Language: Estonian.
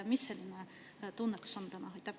Mis see tunnetus täna on?